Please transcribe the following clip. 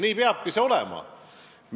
Nii peabki olema.